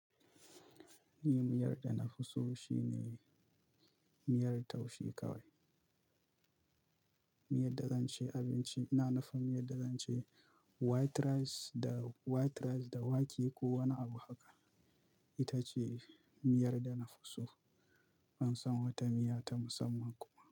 Miyar da na fi so shine miyar taushe kawai. Miyar da zan ci abinci, ina nufin miyar da zan ci white rice da white rice da wake ko wani abu haka. Ita ce miyar da na fi so. Ban san wata miya ta musamman kuwa.